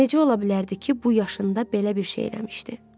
Necə ola bilərdi ki, bu yaşında belə bir şey eləmişdi.